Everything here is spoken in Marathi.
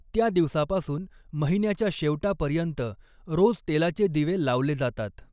त्या दिवसापासून महिन्याच्या शेवटापर्यंत, रोज तेलाचे दिवे लावले जातात.